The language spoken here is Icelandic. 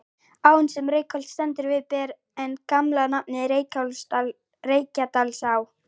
Áin sem Reykholt stendur við ber enn gamla nafnið, Reykjadalsá.